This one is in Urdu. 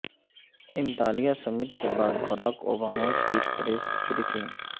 انطالیہ سمٹ کے بعد باراک اوباما کی پریس بریفنگ